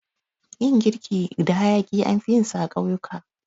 Yin girki da hayaƙi anfi yinsa a ƙauyuka.